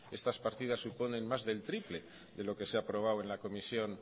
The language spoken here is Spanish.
estas partidas suponen más del triple de lo que se ha aprobado en la comisión